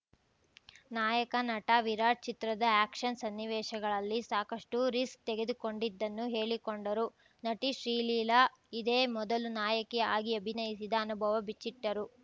ನಾಯಕ ನಟ ವಿರಾಟ್‌ ಚಿತ್ರದ ಆ್ಯಕ್ಷನ್‌ ಸನ್ನಿವೇಶಗಳಲ್ಲಿ ಸಾಕಷ್ಟುರಿಸ್ಕ್ ತೆಗೆದುಕೊಂಡಿದ್ದನ್ನು ಹೇಳಿಕೊಂಡರು ನಟಿ ಶ್ರೀಲೀಲಾ ಇದೇ ಮೊದಲು ನಾಯಕಿ ಆಗಿ ಅಭಿನಯಿಸಿದ ಅನುಭವ ಬಿಚ್ಚಿಟ್ಟರು